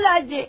Al, indi.